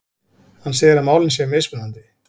Hann segir að málin séu mismunandi